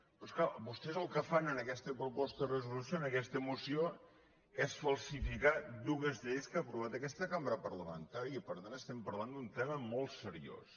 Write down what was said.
però és clar vostès el que fan en aquesta proposta de resolució en aquesta moció és falsificar dues lleis que ha aprovat aquesta cambra parlamen·tària i per tant estem parlant d’un tema molt seri·ós